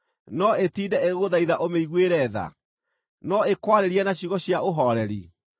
No ĩtinde ĩgĩgũthaitha ũmĩiguĩre tha? No ĩkwarĩrie na ciugo cia ũhooreri?